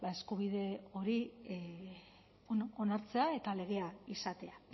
eskubide hori onartzea eta legea izatea